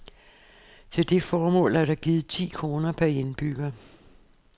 Til det formål er der givet ti kroner per indbygger.